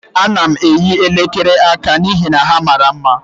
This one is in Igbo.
Ana m eyi elekere aka n'ihi na ha mara mma.